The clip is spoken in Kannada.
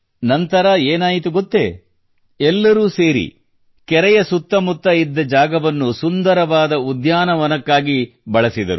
ಅನಂತರ ಏನಾಯಿತು ಗೊತ್ತೇ ಎಲ್ಲರೂ ಸೇರಿ ಕೆರೆಯಿದ್ದ ಜಾಗವನ್ನು ಸುಂದರವಾದ ಉದ್ಯಾನವನ ನಿರ್ಮಿಸಿದರು